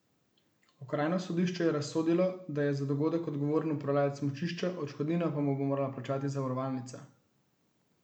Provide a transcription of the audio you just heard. Okrajno sodišče je razsodilo, da je za dogodek odgovoren upravljavec smučišča, odškodnino pa mu bo morala plačati zavarovalnica.